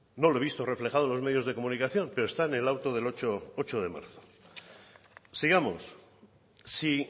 no lo he visto reflejado en los medios de comunicación pero está en el auto del ocho de marzo sigamos si